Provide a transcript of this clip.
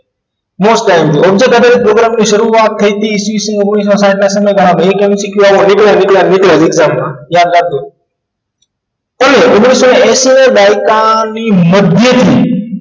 Most imp object સાથે program ની શરૂઆત થઈ હતી ઈ. સ ઓગ્નીશો સાઈઠ ના સમયગાળામાં એક MCQ આવો નીકળે નીકળે નીકળે જ યાદ રાખજો સન ઓગ્નીશો એંશી ના દાયકા ની મધ્યમાં